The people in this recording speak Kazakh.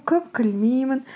көп күлмеймін